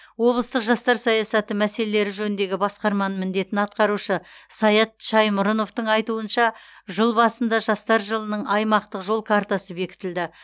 облыстық жастар саясаты мәселелері жөніндегі басқарманың міндетін атқарушы саят шаймұрыновтың айтуынша жыл басында жастар жылының аймақтық жол картасы бекітілді